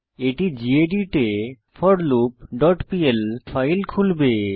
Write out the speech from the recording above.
এটি গেদিত এ forloopপিএল ফাইল খুলবে